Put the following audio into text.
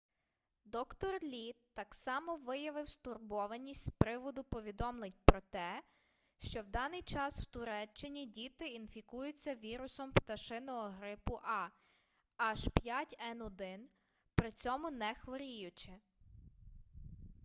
д-р лі так само виявив стурбованість з приводу повідомлень про те що в даний час в туреччині діти інфікуються вірусом пташиного грипу a h5n1 при цьому не хворіючи